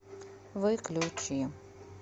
выключи